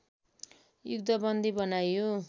युद्धबन्दी बनाइयो